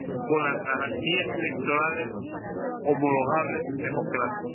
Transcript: con las garantías electorales homologables en democracia.